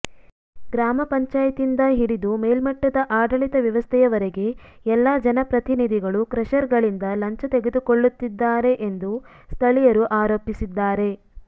ಗ್ರಾಮ ಪಂಚಾಯತಿಯಿಂದ ಹಿಡಿದು ಮೇಲ್ಮಟ್ಟದ ಆಡಳಿತ ವ್ಯವಸ್ಥೆಯವರೆಗೆ ಎಲ್ಲ ಜನಪ್ರತಿನಿಧಿಗಳು ಕ್ರಷರ್ಗಳಿಂದ ಲಂಚ ತೆಗೆದುಕೊಳ್ಳುತ್ತಿದ್ದಾರೆ ಎಂದು ಸ್ಥಳೀಯರು ಆರೋಪಿಸಿದ್ದಾರೆ